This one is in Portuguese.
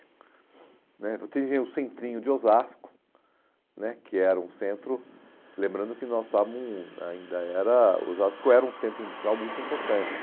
né você tinha o centrinho de Osasco né, que era um centro, lembrando que nós estávamos, ainda era, Osasco era um centro industrial muito importante.